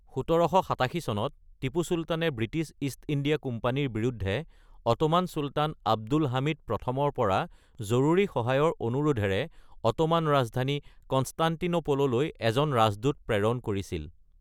১৭৮৭ চনত, টিপু চুলতানে British East India কোম্পানীৰ বিৰুদ্ধে অটোমান চুলতান আব্দুল হামিদ প্ৰথমৰ পৰা জৰুৰী সহায়ৰ অনুৰোধেৰে অটোমান ৰাজধানী কনষ্টাণ্টিনোপললৈ এজন ৰাজদূত প্ৰেৰণ কৰিছিল।